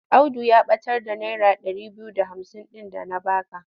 Audu ya ɓatar da naira ɗari biyu da hamsin ɗin da na ba ka.